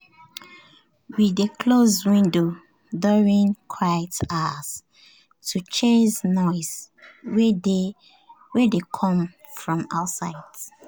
we dey close windows during quiet hours to chase noise wey dey come from outside.